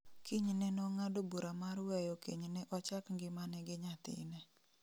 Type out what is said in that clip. Kinyne nong'ado bura mar weyo kenyne ochak ngimane gi nyathine